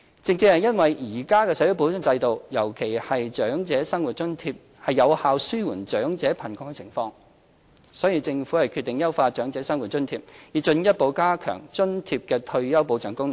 正正因為現行的社會保障制度，尤其是長者生活津貼，有效紓緩長者貧窮的情況，所以政府決定優化長者生活津貼，以進一步加強津貼的退休保障功能。